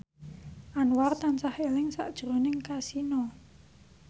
Anwar tansah eling sakjroning Kasino